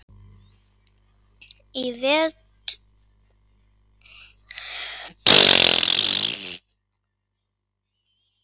Í vefútgáfu Íslensku alfræðiorðabókarinnar má finna tvær mismunandi skilgreiningar á rándýrum.